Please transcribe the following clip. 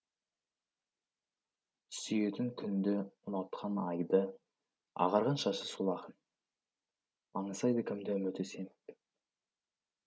сүйетін күнді ұнатқан айды ағарған шашы сол ақын аңсайды кімді үміті семіп